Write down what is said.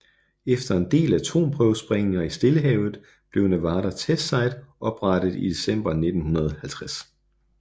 Efter en del atomprøvesprængninger i Stillehavet blev Nevada Test Site oprettet i december 1950